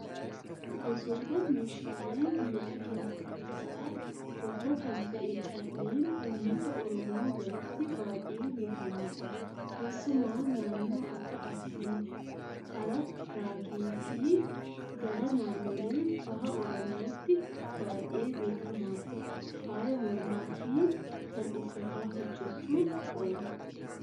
Gosoota meeshaalee miidhaginaa keessaa tokko kan ta'e calleen uummata oromoo biratti baay'ee beekamaadha. Keessumaa naannoo Akka Arsii, hararagee fi gara naannolee baha oromiyaatti baay'ee beekama. Faaya mormaa fi kan uffataa hojjachuuf oola.